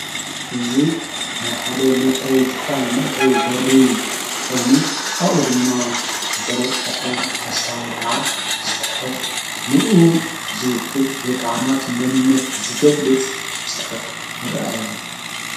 እዙይ ናይ ሓደ መፍረይ ጥካል መእተዉ በሪ ኾይኑ ኣኡ ድማ ዘለጠፈ ፖስታ ወይ ከዓ ጽሑፍ ንኡ ዝውክል ወይ ከዓናቱ ምንነት ዝገድሊ ጽ ጽሑፍ ይረአየኣሎ።